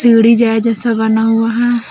सीढ़ी जाय जैसा बना हुआ हैं।